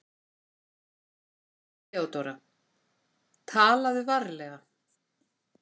THEODÓRA: Talaðu varlega.